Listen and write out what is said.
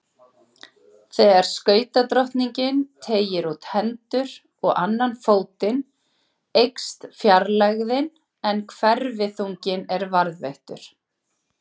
Þegar skautadrottningin teygir út hendur og annan fótinn eykst fjarlægðin en hverfiþunginn er varðveittur.